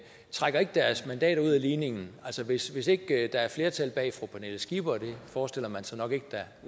trækker deres mandater ud af ligningen altså hvis ikke der er flertal bag fru pernille skipper og det forestiller man sig nok ikke der